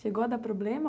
Chegou a dar problema?